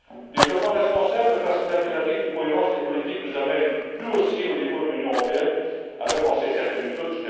Développement responsable parce que l'impératif de cohérence des politiques nous amène, nous aussi, au niveau de l'Union européenne, à repenser certaines méthodes.